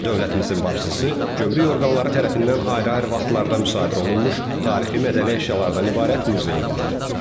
Dövlətimizin başçısı gömrük orqanları tərəfindən ayrı-ayrı vaxtlarda müşahidə olunmuş tarixi-mədəni əşyalardan ibarət muzeyə baxdı.